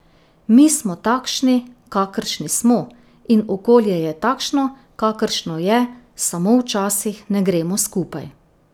Mi smo takšni, kakršni smo, in okolje je takšno, kakršno je, samo včasih ne gremo skupaj.